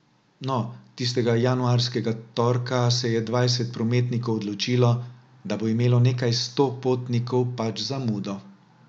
No, tistega januarskega torka se je dvajset prometnikov odločilo, da bo imelo nekaj sto potnikov pač zamudo.